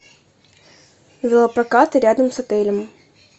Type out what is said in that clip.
велопрокаты рядом с отелем